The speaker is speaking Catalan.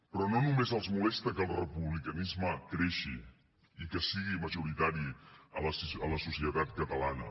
però no només els molesta que el republicanisme creixi i que sigui majoritari a la societat catalana